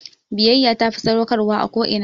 Biyayya tafi sadaukarwa a ko'ina